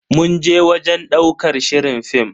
Mun je wajen ɗaukar shirin fim.